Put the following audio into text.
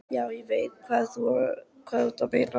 Já, ég veit alveg hvað þú ert að meina.